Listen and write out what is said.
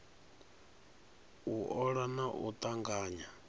u ola na u tanganya